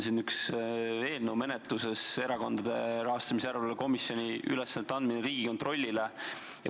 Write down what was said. Meil on üks eelnõu menetluses, Erakondade Rahastamise Järelevalve Komisjoni ülesannete andmine Riigikontrollile.